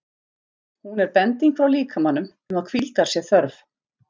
Hún er bending frá líkamanum um að hvíldar sé þörf.